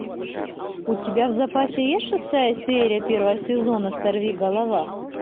у тебя в запасе есть шестая серия первого сезона сорви голова